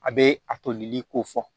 A bɛ a tolili ko fɔ